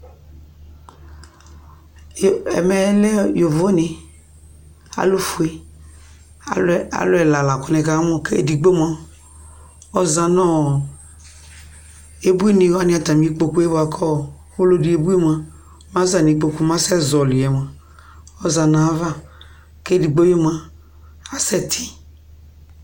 Ɛmɛ lɛ yovone kʋ alʋfue, alʋ ɛla la kʋ nɩkamʋ kʋ edigbo mʋa, ɔza nʋ ɔ ebuinɩ wanɩ atamɩ ikpoku yɛ bʋa kʋ ɔlɔdɩ ebui mʋa, mɛ aza nʋ ikpoku mɛ asɛzɔɣɔlɩ yɛ mʋa, ɔza nʋ ayava kʋ edigbo yɛ mʋa, asɛtɩ